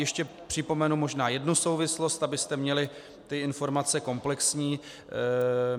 Ještě připomenu možná jednu souvislost, abyste měli ty informace komplexní.